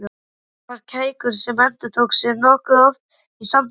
Það var kækur sem endurtók sig nokkuð oft í samtalinu.